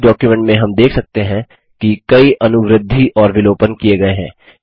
इस डॉक्युमेंट में हम देख सकते हैं कि कई अनुवृद्धिएडिशन और विलोपन किये गये हैं